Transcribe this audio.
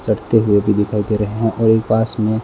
चढ़ते हुए भी दिखाई दे रहे हैं और एक पास में--